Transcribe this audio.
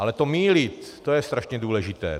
Ale to mýlit, to je strašně důležité.